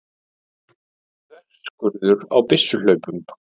Þverskurður á byssuhlaupum.